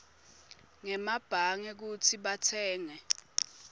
ngemabhange kutsi batsenge